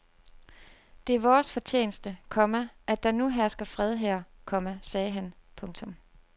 Det er vores fortjeneste, komma at der nu hersker fred her, komma sagde han. punktum